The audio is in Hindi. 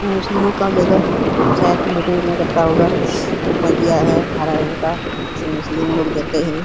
मुस्लिमों का जगह है शायद मीटिंग वीटीग करता होगा। ऊपर दिया है हरा रंग का जैसे मुस्लिम लोग देते हैं।